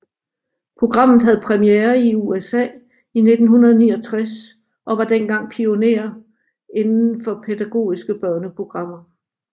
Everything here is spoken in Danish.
Programmet havde premiere i USA i 1969 og var dengang pionerer inden for pædagogiske børneprogrammer